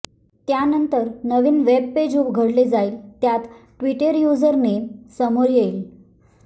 त्यानंतर नवीन web page उघडले जाईल त्यात ट्विटर यूजर नेम समोर येईल